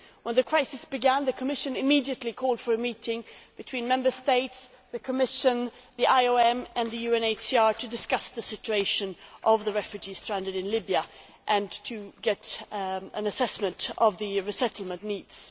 When the crisis began, the Commission immediately called for a meeting between Member States, the Commission, the IOM and the UNHCR to discuss the situation of the refugees stranded in Libya and to get an assessment of the resettlement needs.